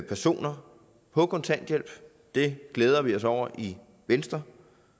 personer på kontanthjælp det glæder vi os over i venstre